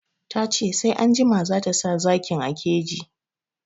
Ta ce sai anjima zata sa zakin a keji